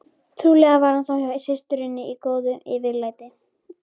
Trúlega var hann þá hjá systurinni í góðu yfirlæti.